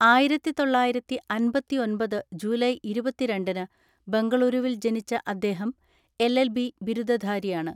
ആയിരത്തിതൊള്ളയിരത്തിഅൻപത്തിഒൻപത് July ഇരുപതിരണ്ടിന് ബംഗളുരുവിൽ ജനിച്ച അദ്ദേഹം എൽഎൽബി ബിരുദധാരിയാണ്.